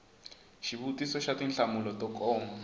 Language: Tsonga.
xivutiso xa tinhlamulo to koma